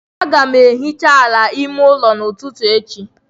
Aga m ehicha ala ime ụlọ n'ụtụtụ echi.